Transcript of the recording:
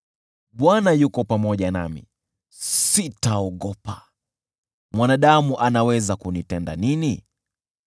Bwana yuko pamoja nami, sitaogopa. Mwanadamu anaweza kunitenda nini?